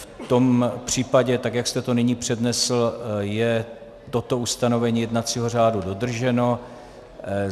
V tom případě tak, jak jste to nyní přednesl, je toto ustanovení jednacího řádu dodrženo.